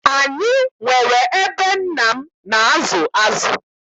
Anyị nwere ebe nna m na-azụ azụ.